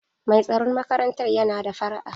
Mai tsaron makarantar yana da fara'a.